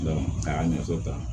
a y'a ɲɛfɔ ta